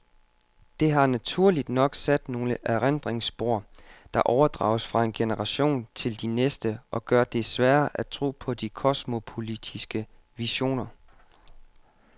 Det har naturligt nok sat nogle erindringsspor, der overdrages fra en generation til de næste og gør det sværere at tro på de kosmopolitiske visioner.